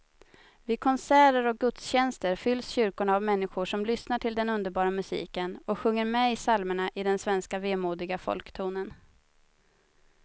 Vid konserter och gudstjänster fylls kyrkorna av människor som lyssnar till den underbara musiken och sjunger med i psalmerna i den svenska vemodiga folktonen.